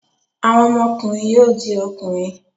Àwọn ọmọkùnrin yóò di ọkùnrin.